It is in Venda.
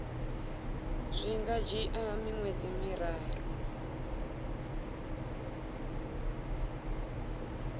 zwi nga dzhia miṅwedzi miraru